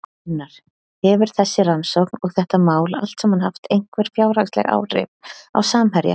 Gunnar: Hefur þessi rannsókn og þetta mál allt saman haft einhver fjárhagsleg áhrif á Samherja?